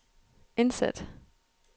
indsæt